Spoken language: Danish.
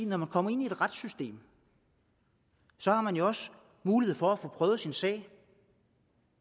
når man kommer ind i et retssystem har man jo også mulighed for at få prøvet sin sag